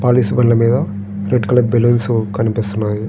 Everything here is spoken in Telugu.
పాలిష్ బల్ల మీద రెడ్ కలర్ బెలూన్స్ కనిపిస్తున్నాయి.